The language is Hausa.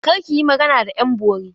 Kar ki yi magana da ƴan bori!